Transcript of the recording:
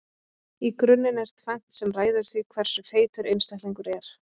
í grunninn er tvennt sem ræður því hversu feitur einstaklingur er